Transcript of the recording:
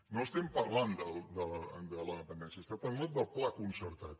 no estem par·lant de la dependència estem parlant del pla concertat